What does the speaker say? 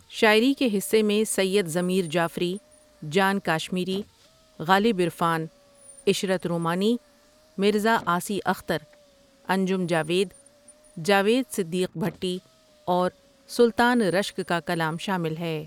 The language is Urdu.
شاعری کے حصے میں سید ضمیر جعفری، جان کاشمیری، غالب عرفان، عشرت رومانی، مرزا عاصی اختر، انجم جاوید، جاوید صدیق بھٹی اور سلطان رشک کا کلام شامل ہے ۔